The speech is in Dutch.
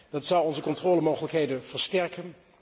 Dat zou onze controlemogelijkheden versterken.